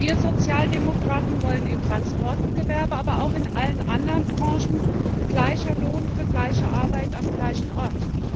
Wir Sozialdemokraten wollen im Transportgewerbe, aber auch in allen anderen Branchen, gleichen Lohn für gleiche Arbeit am gleichen Ort.